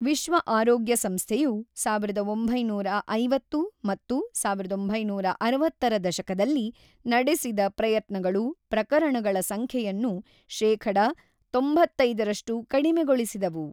ವಿಶ್ವ ಆರೋಗ್ಯ ಸಂಸ್ಥೆಯು ಸಾವಿರದ ಒಂಬೈನೂರ ಐವತ್ತು ಮತ್ತು ಸಾವಿರದ ಒಂಬೈನೂರ ಅರವತ್ತರ ದಶಕದಲ್ಲಿ ನಡೆಸಿದ ಪ್ರಯತ್ನಗಳು ಪ್ರಕರಣಗಳ ಸಂಖ್ಯೆಯನ್ನು ಶೇಖಡ ತೋಂಬತೈದರಷ್ಟು ಕಡಿಮೆಗೊಳಿಸಿದವು.